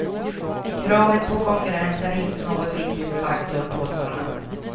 Kravet på konkurrens är inte någon viktig faktor, påstår han.